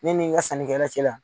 Ne ni n ka sannikɛla cɛla.